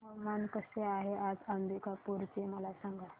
हवामान कसे आहे आज अंबिकापूर चे मला सांगा